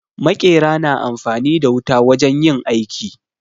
Maƙera na amfani da wuta wajen yin aiki.